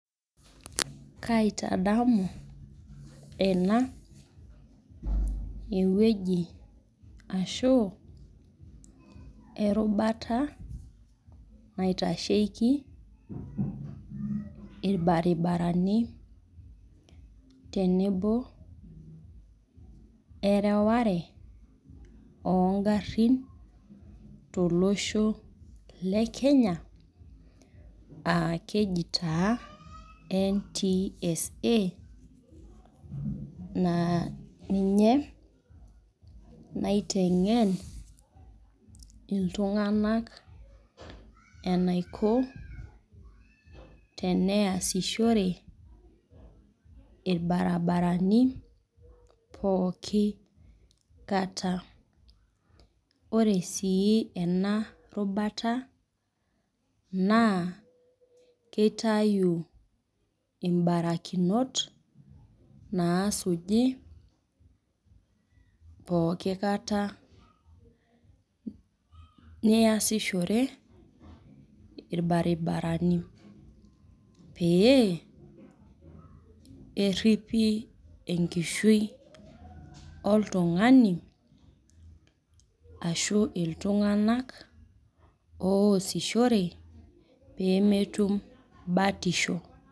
Kaiatadamu ena ewueji ashu erubata naitasheiki irbaribarani tenebo ereware oongarrin tolosho le Kenya aa keji taa NTSA naa ninye naiteng'en iltung'anak enaiko tenasishore irbaribarani pooki kata ore sii ena rubata naa kitayu mabarakinot naasuji pooki kata niasishore irbaribarani pee eriipi enkishui oltung'ani ashu iltung'anak oosishore pee metumi batisho.